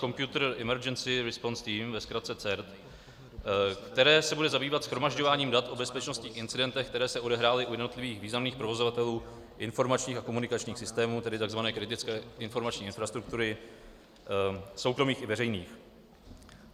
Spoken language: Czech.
Computer Emergency Response Team, ve zkratce CERT, které se bude zabývat shromažďováním dat o bezpečnostních incidentech, které se odehrály u jednotlivých významných provozovatelů informačních a komunikačních systémů, tedy tzv. kritické informační infrastruktury, soukromých i veřejných.